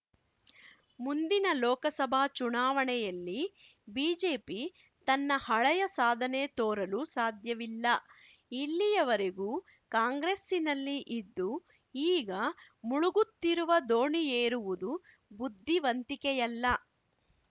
ಮುಂದಿನ ಲೋಕಸಭಾ ಚುನಾವಣೆಯಲ್ಲಿ ಬಿಜೆಪಿ ತನ್ನ ಹಳೆಯ ಸಾಧನೆ ತೋರಲು ಸಾಧ್ಯವಿಲ್ಲ ಇಲ್ಲಿಯವರೆಗೂ ಕಾಂಗ್ರೆಸ್ಸಿನಲ್ಲಿ ಇದ್ದು ಈಗ ಮುಳುಗುತ್ತಿರುವ ದೋಣಿಯೇರುವುದು ಬುದ್ಧಿವಂತಿಕೆಯಲ್ಲ